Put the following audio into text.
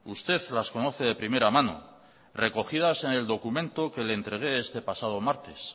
usted las conoce de primera mano recogidas en el documento que le entregué este pasado martes